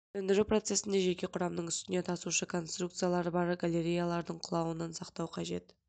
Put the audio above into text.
сөндіру процесінде жеке құрамның үстіне тасушы конструкциялары бар галереялардың құлауынан сақтау қажет